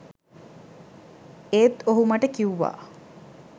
ඒත් ඔහු මට කිව්වා